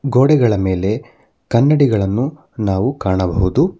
ಗೋಡೆಗಳ ಮೇಲೆ ಕನ್ನಡಿಗಳನ್ನು ನಾವು ಕಾಣಬಹುದು.